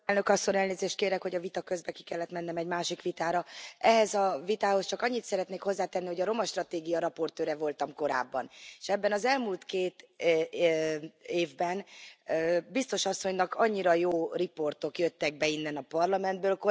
Elnök Asszony! Elnézést kérek, hogy a vita közben ki kellett mennem egy másik vitára. Ehhez a vitához csak annyit szeretnék hozzátenni, hogy a romastratégia raportőre voltam korábban, és ebben az elmúlt két évben biztos asszonynak annyira jó riportok jöttek be innen, a Parlamentből.